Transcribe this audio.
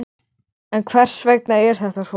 Ég á heimtingu á að fá að vita það.